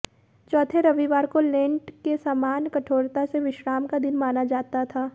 चौथे रविवार को लेंट के सामान्य कठोरता से विश्राम का दिन माना जाता था